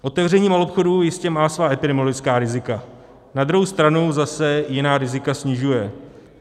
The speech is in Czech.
Otevření maloobchodů jistě má svá epidemiologická rizika, na druhou stranu zase jiná rizika snižuje.